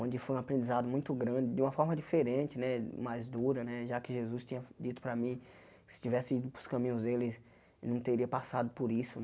onde foi um aprendizado muito grande, de uma forma diferente né, mais dura né, já que Jesus tinha dito para mim que se eu tivesse ido para os caminhos dEle, não teria passado por isso.